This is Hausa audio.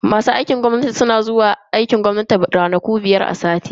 Masu aikin gwamnati suna zuwa aiki ne ranaku biyar a ciki sati.